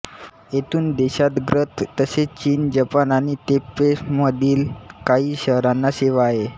येथून देशांतर्गत तसेच चीन जपान आणि तैपैमधील काही शहरांना सेवा आहे